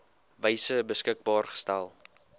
wyse beskikbaar gestel